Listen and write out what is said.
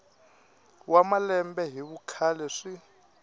wa malembe hi vukhale swi